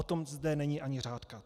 O tom zde není ani řádka.